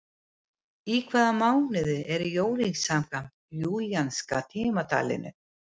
Í hvaða mánuði eru jólin samkvæmt júlíanska tímatalinu?